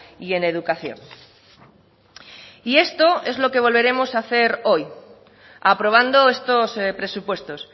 y en educación y esto es lo que volveremos a hacer hoy aprobando estos presupuestos